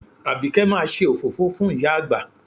Àbíkẹ́ máa ṣe òfófó fún ìyá àgbà